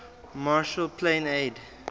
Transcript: marshall plan aid